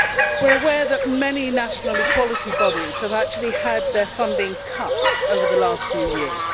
We are aware that many national equality bodies have actually had their funding cut over the last few years.